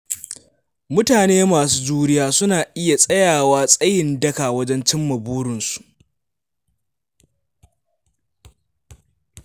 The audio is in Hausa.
Mutane masu juriya suna iya tsayawa tsayin daka wajen cimma burinsu.